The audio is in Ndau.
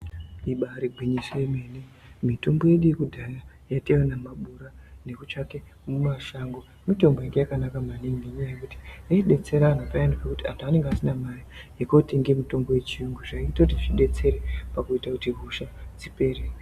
Ibari gwinyiso yemene mitombo yedu yekudhaya yataiona mumabuya neku tsvake mashango mitombo yanga yakanaka maningi ngenyaya yekuti yayidetsera anhu payani nekuti anhu anga isina mari yekunotenga mitombo yechiyungu zvaitira kuti zvidetsere pakuti hosha ipere.